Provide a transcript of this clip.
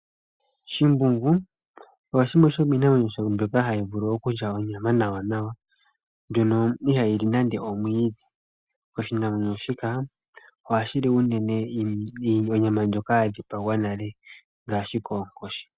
Shimbungu, osho shimwe shomiinamwenyo mbyoka hayi vulu okulya onyama nawanawa, mbyono ihayi li nande omwiidhi. Oshinamwenyo shika ohashi li unene onyama ndjoka ya dhipagwa nale ngashi koonkoshi.